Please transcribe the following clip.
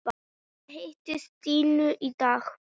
Ég hitti Stínu í dag.